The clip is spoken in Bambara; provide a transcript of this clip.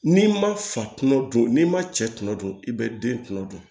N'i ma fatunu dun n'i ma cɛ tuma don i bɛ den kunkolo dun